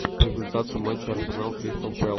результаты матча арсенал кристал пэлас